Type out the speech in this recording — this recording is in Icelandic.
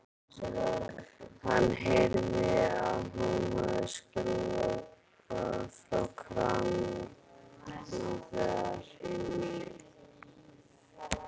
Hann heyrði að hún hafði skrúfað frá krana þar inni.